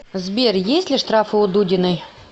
сбер есть ли штрафы у дудиной